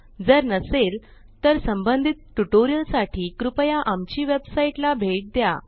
जर नसेल तर संबंधित ट्यूटोरियल साठी कृपया आमची वेबसाइट httpspoken tutorialorg ला भेट द्या